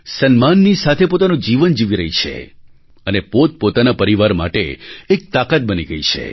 સન્માનની સાથે પોતાનું જીવન જીવી રહી છે અને પોતપોતાના પરિવાર માટે એક તાકાત બની ગઈ છે